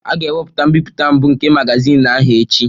A ga-ewepụta mbipụta mbụ nke magazin ahụ echi